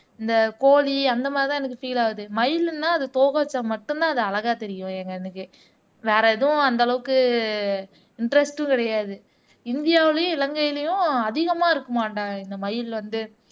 இந்த கோழி அந்த மாதிரிதான் எனக்கு பீல் ஆகுது மயிலுன்னா அது தொகை வெச்சா மட்டும்தான் அது அழகா தெரியும் எங்க கண்ணுக்கு வேற எதுவும் அந்த அளவுக்கு இன்டெரெஸ்ட்டும் கிடையாது இந்தியாவிலேயும் இலங்கையிலேயும் அதிகமா இருக்குமாடா இந்த மயில் வந்து